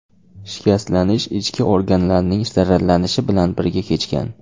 Shikastlanish ichki organlarning zararlanishi bilan birga kechgan.